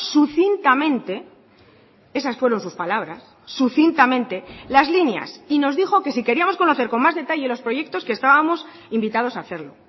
sucintamente esas fueron sus palabras sucintamente las líneas y nos dijo que si queríamos conocer con más detalle los proyectos que estábamos invitados a hacerlo